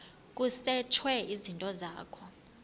kusetshwe izinto zakho